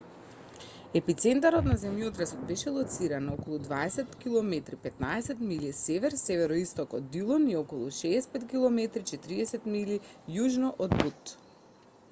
епицентарот на земјотресот беше лоциран на околу 20 km 15 милји север-североисток од дилон и околу 65 km 40 милји јужно од бут